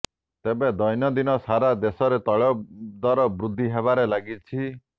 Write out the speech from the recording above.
ତେବେ ଦୈନଦୀନ ସାରା ଦେଶରେ ତୈଲଦର ବୃଦ୍ଧି ହେବାରେ ଲାଗିଛି